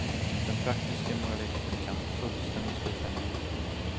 Den praktiske moralisten kan fullständigt frikänna dem.